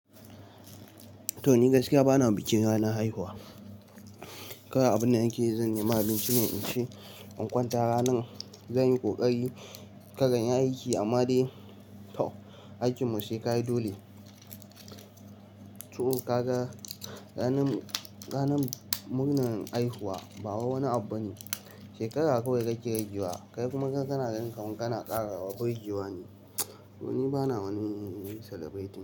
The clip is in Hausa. Toh ni gaskiya bana bikin ranar haihuwa. Kawai abin da nake yi zan nema abinci ne in ci in kwanta ranar, zan yi ƙoƙari kar na yi aiki amma dai tau aikin mu sai ka yi dole. Toh ka ga ranar, ranar murnar haihuwa ba wai wani abu ba ne. Shekara kawai kake ragewa kai kuma kana gani kuma kana ƙara wa birgewa ne. Toh ni bana wani celebrating.